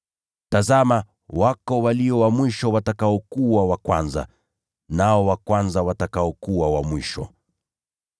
Tazama, kunao walio wa mwisho watakaokuwa wa kwanza, nao wa kwanza watakaokuwa wa mwisho.”